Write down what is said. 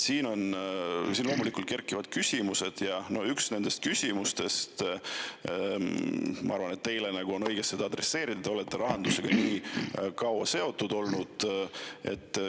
Siin loomulikult kerkivad üles küsimused ja üks nendest on, ma arvan, õige adresseerida teile, te olete rahandusega kaua seotud olnud.